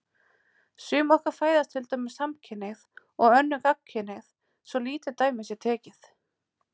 Sum okkar fæðast til dæmis samkynhneigð og önnur gagnkynhneigð, svo lítið dæmi sé tekið.